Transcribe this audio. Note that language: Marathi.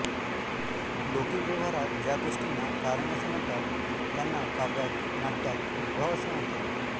लौकिक व्यवहारात ज्या गोष्टींना कारण असे म्हणतात त्यांना काव्यात नाट्यात विभाव असे म्हणतात